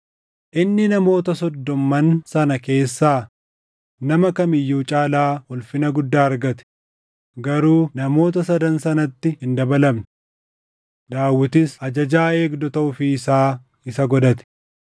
Inni namoota soddomman sana keessaa nama kam iyyuu caalaa ulfina guddaa argate; garuu namoota Sadan sanatti hin dabalamne. Daawitis ajajaa eegdota ofii isaa isa godhate.